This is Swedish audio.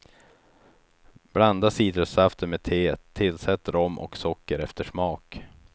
Blanda citrussaften med teet, tillsätt rom och socker efter smak.